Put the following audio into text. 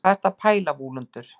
hvað ertu að pæla vúlundur